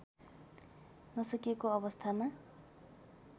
नसकेको अवस्थामा